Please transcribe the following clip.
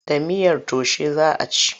Da miyar taushe za a ci.